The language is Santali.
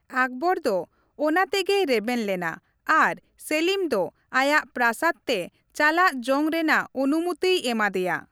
ᱟᱠᱵᱚᱨ ᱫᱚ ᱚᱱᱟ ᱛᱮᱜᱮᱭ ᱨᱮᱵᱮᱱ ᱞᱮᱱᱟ ᱟᱨ ᱥᱮᱞᱤᱢ ᱫᱚ ᱟᱭᱟᱜ ᱯᱨᱟᱥᱟᱫᱽ ᱛᱮ ᱪᱟᱞᱟᱜ ᱡᱚᱝ ᱨᱮᱱᱟᱜ ᱚᱱᱩᱢᱚᱛᱤᱭ ᱮᱢᱟ ᱫᱮᱭᱟ ᱾